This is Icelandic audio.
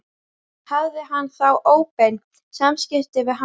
Hafði hann þá óbein samskipti við hann?